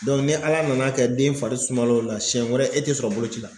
ni Ala nana kɛ den fari suma la o la siyɛn wɛrɛ e tɛ sɔrɔ boloci la.